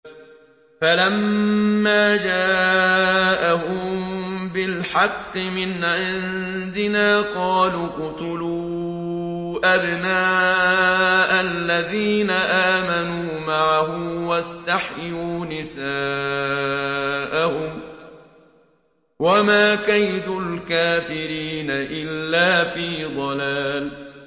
فَلَمَّا جَاءَهُم بِالْحَقِّ مِنْ عِندِنَا قَالُوا اقْتُلُوا أَبْنَاءَ الَّذِينَ آمَنُوا مَعَهُ وَاسْتَحْيُوا نِسَاءَهُمْ ۚ وَمَا كَيْدُ الْكَافِرِينَ إِلَّا فِي ضَلَالٍ